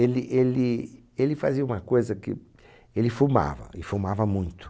Ele, ele, ele fazia uma coisa que... Ele fumava, e fumava muito.